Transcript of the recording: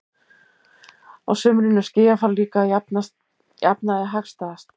Á sumrin er skýjafar líka að jafnaði hagstæðast.